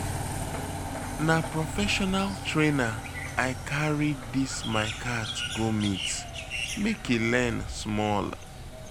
Na prefessional trainer I carry dis my cat go meet, make e learn small.